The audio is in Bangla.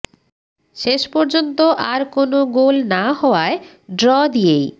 শেষ পর্যন্ত আর কোন গোল না হওয়ায় ড্র দিয়েই